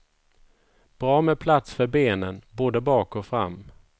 Bra med plats för benen både bak och fram.